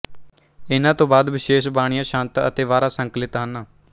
ਇਨ੍ਹਾਂ ਤੋਂ ਬਾਅਦ ਵਿਸ਼ੇਸ਼ ਬਾਣੀਆਂ ਛੰਤ ਅਤੇ ਵਾਰਾਂ ਸੰਕਲਿਤ ਹਨ